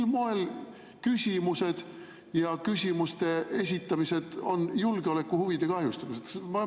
Mil moel küsimused ja küsimuste esitamine on julgeolekuhuvide kahjustamine?